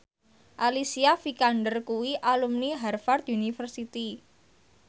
Alicia Vikander kuwi alumni Harvard university